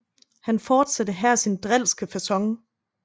Han fortsatte her sin drilske facon